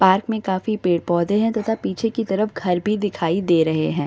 Park में काफी पेड़-पौधे हैं तथा पीछे की तरफ घर भी दिखाई दे रहे हैं।